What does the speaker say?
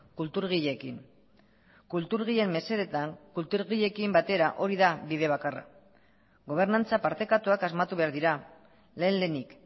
kulturgileekin kulturgileen mesedetan kulturgileekin batera hori da bide bakarra gobernantza partekatuak asmatu behar dira lehen lehenik